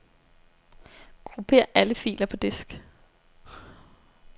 Grupper alle filer på disk.